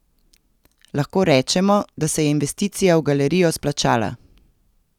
Lahko rečemo, da se je investicija v galerijo splačala!